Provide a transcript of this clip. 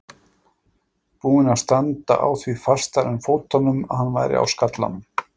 Búinn að standa á því fastar en fótunum að hann væri á skallanum!